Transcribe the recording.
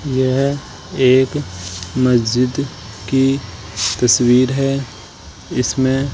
यह एक मस्जिद की तस्वीर है इसमें --